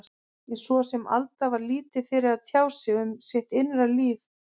En svo sem Alda var lítið fyrir að tjá sig um sitt innra líf, er